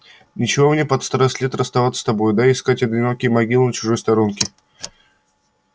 нечего мне под старость лет расставаться с тобою да искать одинокой могилы на чужой сторонке